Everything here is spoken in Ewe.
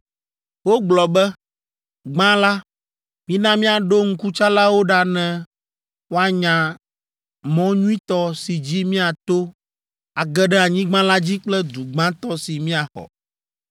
Wogblɔ be, “Gbã la, mina míaɖo ŋkutsalawo ɖa ne woanya mɔ nyuitɔ si dzi míato age ɖe anyigba la dzi kple du gbãtɔ si míaxɔ.”